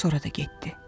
Sonra da getdi.